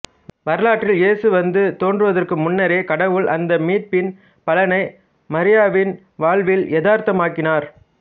வரலாற்றில் இயேசு வந்து தோன்றுவதற்கு முன்னரே கடவுள் அந்த மீட்பின் பலனை மரியாவின் வாழ்வில் எதார்த்தமாக்கினார்